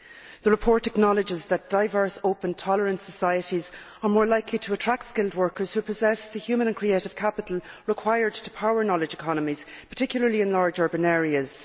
The report acknowledges that diverse, open tolerant societies are more likely to attract skilled workers who possess the human and creative capital required to power knowledge economies, particularly in large urban areas.